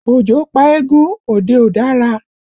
Ojo pa eégún, òde ò dára